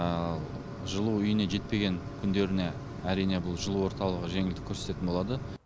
ал жылу үйіне жетпеген күндеріне әрине бұл жылу орталығы жеңілдік көрсететін болады